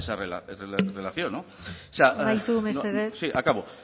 esa relación amaitu mesedez sí acabo